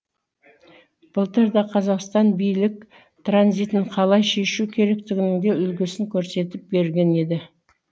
былтыр да қазақстан билік транзитін қалай шешу керектігінің де үлгісін көрсетіп берген еді